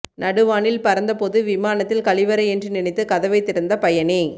நடுவானில் பறந்தபோது விமானத்தில் கழிவறை என்று நினைத்து கதவை திறந்த பயணி